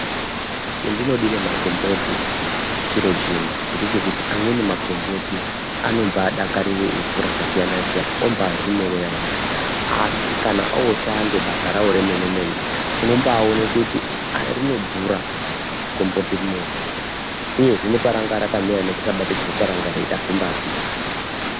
Chendinodire makomboti chiro chimwe, ngechekuti amweni makomboti anombadakarire ivhu rakasiyana siyana ombazvimerera ega. Asi kana oshande basa rawo remene mene unombaone ah rinodhura gomboti rineiri uyezve neparanga rakamera nekusabatikirwa kwaranga roita, hazvimba pindirani.